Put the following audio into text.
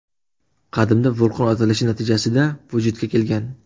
Qadimda vulqon otilishi natijasida vujudga kelgan.